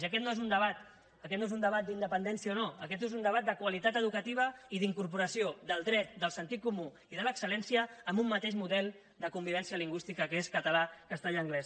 i aquest no és un debat aquest no és un debat d’independència o no aquest és un debat de qualitat educativa i d’incorporació del dret del sentit comú i de l’excelmateix model de convivència lingüística que és català castellà i anglès